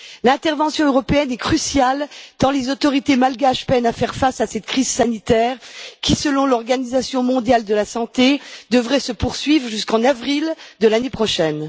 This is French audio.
L'intervention européenne est cruciale tant les autorités malgaches peinent à faire face à cette crise sanitaire qui, selon l'Organisation mondiale de la santé, devrait se poursuivre jusqu'en avril de l'année prochaine.